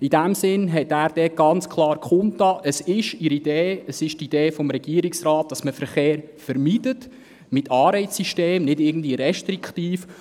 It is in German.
In diesem Sinn hat er klar kundgetan, dass der Regierungsrat beabsichtigt, Verkehr zu vermeiden, und zwar mit Anreizsystemen und nicht restriktiv.